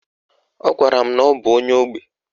Ọ gwara m na ọ bụ onye ógbè.